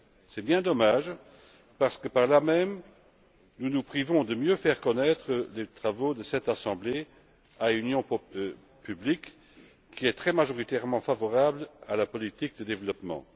C'est bien dommage parce que, par là même, nous nous privons de mieux faire connaître les travaux de cette assemblée à une opinion publique qui est très majoritairement favorable à la politique de développement.